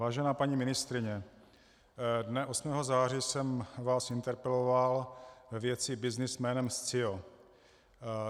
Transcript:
Vážená paní ministryně, dne 8. září jsem vás interpeloval ve věci byznys jménem Scio.